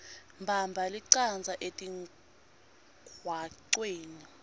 bamba lichaza etingcocweni